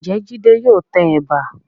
Ǹjẹ́ Jídé yóò tẹ ẹ̀bà?